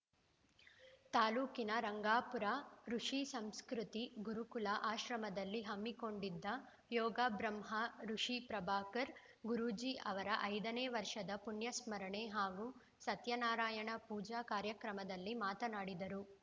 ತಾಲೂಕಿನ ರಂಗಾಪುರ ಋುಷಿ ಸಂಸ್ಕೃತಿ ಗುರುಕುಲ ಆಶ್ರಮದಲ್ಲಿ ಹಮ್ಮಿಕೊಂಡಿದ್ದ ಯೋಗ ಬ್ರಹ್ಮ ಋುಷಿ ಪ್ರಭಾಕರ್‌ ಗುರೂಜಿ ಅವರ ಐದನೇ ವರ್ಷದ ಪುಣ್ಯಸ್ಮರಣೆ ಹಾಗೂ ಸತ್ಯ ನಾರಾಯಣ ಪೂಜಾ ಕಾರ್ಯಕ್ರಮದಲ್ಲಿ ಮಾತನಾಡಿದರು